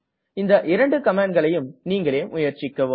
இந்த இரண்டு கமாண்ட்களையும் நீங்களே முயற்சிக்கவும்